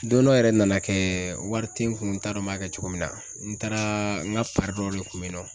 Don dɔ yɛrɛ nana kɛ wari tɛ n kun n t'a dɔn n b'a kɛ cogo min na, n taara n ka de kun bɛ yen nɔ